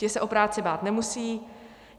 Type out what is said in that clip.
Ti se o práci bát nemusí.